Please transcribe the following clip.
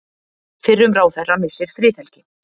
Fyrrum ráðherra missir friðhelgi